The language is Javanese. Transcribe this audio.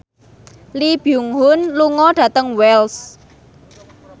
Lee Byung Hun lunga dhateng Wells